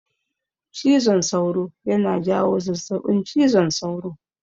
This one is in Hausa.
Cizon sauro yana jawo zazzabin cizon sauro.